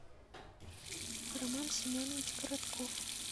роман семенович коротков